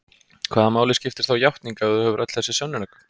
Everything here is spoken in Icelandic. Hvaða máli skiptir þá játning ef þú hefur öll þessi sönnunargögn?